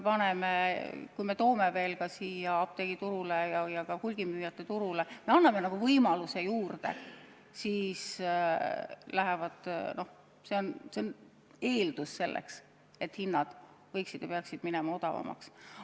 Ja kui toome veel apteegiturule ja ka hulgimüüjate turule ühe võimaluse juurde, siis see on eeldus, et hinnad peaksid minema odavamaks.